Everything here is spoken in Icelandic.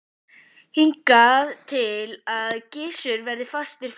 Hingað til hafði Gizur verið fastur fyrir.